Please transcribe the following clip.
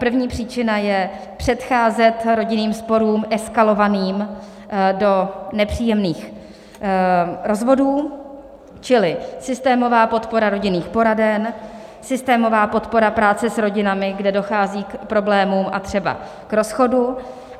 První příčina je předcházet rodinným sporům eskalovaným do nepříjemných rozvodů, čili systémová podpora rodinných poraden, systémová podpora práce s rodinami, kde dochází k problémům a třeba k rozchodu.